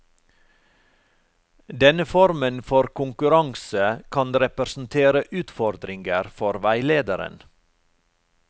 Denne formen for konkurranse kan representere utfordringer for veilederen.